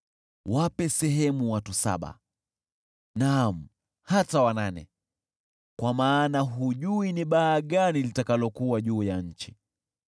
Wape sehemu watu saba, naam hata wanane, kwa maana hujui ni baa gani litakalokuwa juu ya nchi.